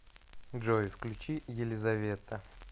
джой включи елизавета